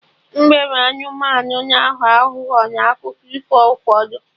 Mbe bụ anụmanụ na-aghọ aghụghọ n'akụkọ ifo ụfọdụ